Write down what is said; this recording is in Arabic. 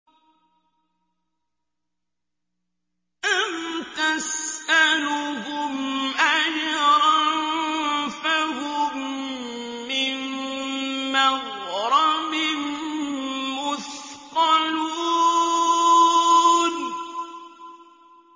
أَمْ تَسْأَلُهُمْ أَجْرًا فَهُم مِّن مَّغْرَمٍ مُّثْقَلُونَ